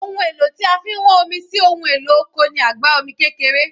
Ohun èlò tí a fi ń wán omi sí ohun èlò oko ni àgbá omi kékeré